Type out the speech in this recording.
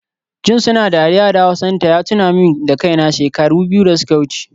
Jin suna dariya da hausanta ya tuna min da kaina, shekaru biyu da suka wuce